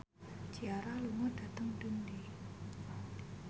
Ciara lunga dhateng Dundee